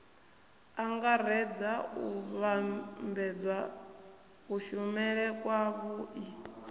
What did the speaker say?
angaredza u vhambedza kushumele kwavhui